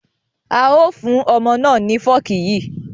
A ó fún ọmọ náà ni fọ́ọ̀kì yí